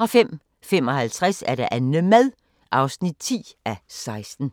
05:55: Annemad (10:16)